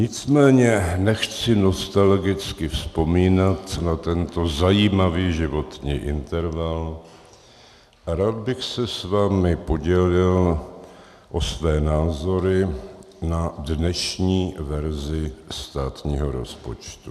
Nicméně nechci nostalgicky vzpomínat na tento zajímavý životní interval a rád bych se s vámi podělil o své názory na dnešní verzi státního rozpočtu.